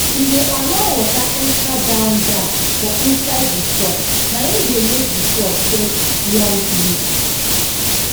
e dey allow water enter down down for inside di soil naim dey make di crops get long root